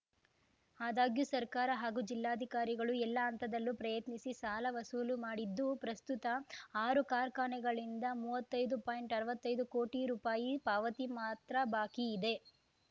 ಆದಾಗ್ಯೂ ಸರ್ಕಾರ ಹಾಗೂ ಜಿಲ್ಲಾಧಿಕಾರಿಗಳು ಎಲ್ಲ ಹಂತದಲ್ಲೂ ಪ್ರಯತ್ನಿಸಿ ಸಾಲ ವಸೂಲು ಮಾಡಿದ್ದು ಪ್ರಸ್ತುತ ಆರು ಕಾರ್ಖಾನೆಗಳಿಂದ ಮುವತ್ತೈದ್ದುಅರ್ವತ್ತೈದು ಕೋಟಿ ರುಪಾಯಿ ಪಾವತಿ ಮಾತ್ರ ಬಾಕಿ ಇದೆ